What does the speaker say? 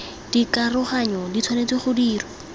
dikaroganyo di tshwanetse go dirwa